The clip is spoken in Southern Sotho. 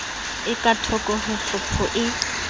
e kathoko ho tlhopho e